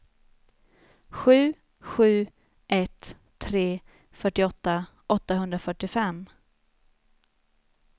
sju sju ett tre fyrtioåtta åttahundrafyrtiofem